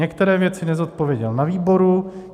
Některé věci nezodpověděl na výboru.